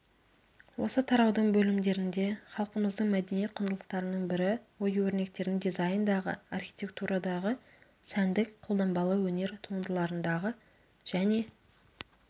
осы тараудың бөлімдерінде халқымыздың мәдени құндылықтарының бірі ою-өрнектердің дизайндағы архитектурадағы сәндік-қолданбалы өнер туындыларындағы және